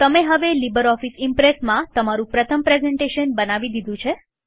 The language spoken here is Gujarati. તમે હવે લીબરઓફીસ ઈમ્પ્રેસમાં તમારું પ્રથમ પ્રેઝન્ટેશન બનાવી દીધું છે